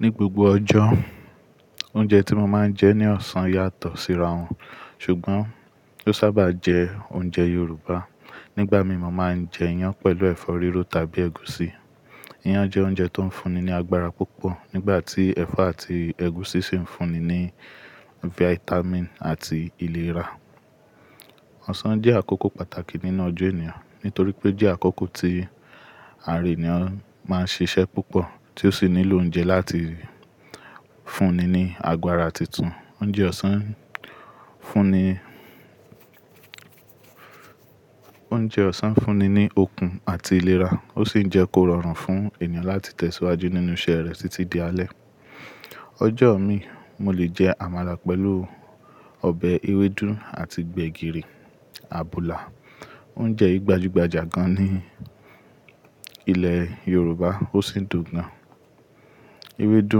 Ní gbogbo ọjọ́, oúnjẹ tí mo máa ń jẹ ní ọ̀sán yàtọ̀ síra wọn, ṣùgbọ́n ó sábà jẹ oúnjẹ Yorùbá. Nígbà mi mo máa ń jẹ iyán pẹ̀lú ẹ̀fọ́ rírò tàbí ẹ̀gúsí. Iyán jẹ́ oúnjẹ tó ń fúnni ní agbára púpọ̀ nígbà tí ẹ̀fọ́ àti ẹ̀gúsí sì ń fúnni ní fáítámìn àti ìlera. Ọ̀sán jẹ́ àkókò pàtàkì nínú ọjọ́ ènìyàn nítorí pé jẹ́ àkókò tí ara ènìyàn máa ń ṣiṣẹ́ púpọ̀ tí ó sì nílò oúnjẹ láti fúnni ní agbára tuntun. Oúnjẹ ọ̀sán ń fúnni, oúnjẹ ọ̀sán ń fúnni ní okun àti ìlera, ó sì ń jẹ́ kó rọrùn fún ènìyàn láti tẹ̀síwájú nínú iṣẹ́ rẹ̀ títí di alẹ́. Ọjọ́ mi, mo lè jẹ àmàlà pẹ̀lú ọbẹ̀ ewédú àti gbẹ̀gìrì, àbùlà, oúnjẹ gbajúgbajà gan ní ilẹ̀ Yorùbá ó sì dùn gan. Ewédú,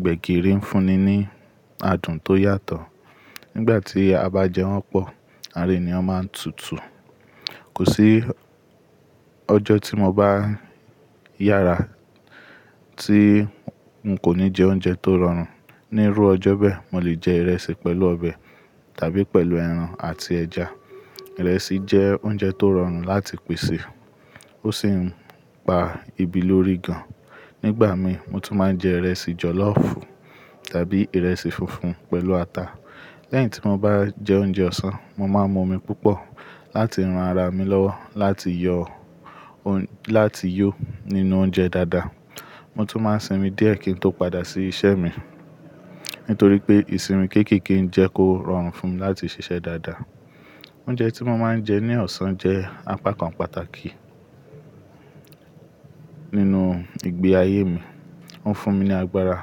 gbẹ̀gìrì ń fúnni ní adùn tó yàtọ̀. Nígbà tí a bá jẹ wọ́n pọ̀, ara ènìyàn máa ń tutù. Kò sí ọjọ́ tí mo bá yára tí n kò ní jẹ oúnjẹ tó rọrùn. Ní rú ọjọ́ bẹ́ẹ̀, mo lè jẹ ìrẹsì pẹ̀lú ọbẹ̀ tàbí pẹ̀lú ẹran àti ẹja. Ìrẹsì jẹ́ oúnjẹ tó rọrùn láti pèsè, ó sì ń pa ebi lórí gan. Nígbà mi, mo tún máa ń jẹ ìrẹsì jọ̀lọ́fù tàbí ìrẹsì funfun pẹ̀lú ata. Lẹ́yìn tí mo bá jẹ oúnjẹ ọ̀sán, mo máa ń mu omi púpọ̀ láti ran ara mi lọ́wọ́ láti yọ, láti yó nínú oúnjẹ dáadáa. Mo tún máa ń sinmi díẹ̀ kí n tó padà sí iṣẹ́ mi nítorí pé ìsinmi kéékèèké ń jẹ́ kó rọrùn fún mi láti ṣiṣẹ́ dáadáa. Oúnjẹ tí mo máa ń jẹ́ ní ọ̀sán jẹ́ apá kan pàtàkì nínú ìgbé ayé mi. Ó ń fún mi ní agbára,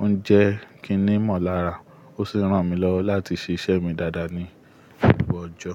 oúnjẹ kíní mọ̀lára ó sì ń ran mi lọ́wọ́ láti ṣiṣẹ́ mi dáadáa ní gbogbo ọjọ́.